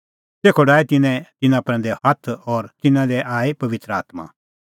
तेखअ डाहै तिन्नैं तिन्नां प्रैंदै हाथ और तिन्नां दी आई पबित्र आत्मां